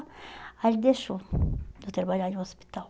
Aí ele deixou de trabalhar no hospital.